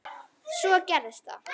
Svo gerðist það.